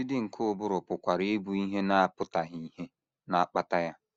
Ọdịdị nke ụbụrụ pụkwara ịbụ ihe na - apụtaghị ìhè na - akpata ya.